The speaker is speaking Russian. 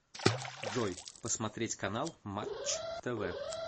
джой посмотреть канал матч тв